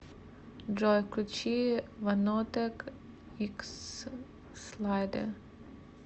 джой включи ванотек икс слайдер